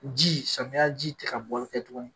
Ji samiya ji tɛ ka bɔli ke tugunni.